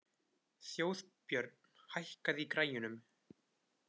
Þjóðbjörn, hækkaðu í græjunum.